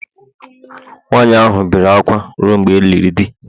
nwaanyị ahụ bere akwa ruo mgbe e liri di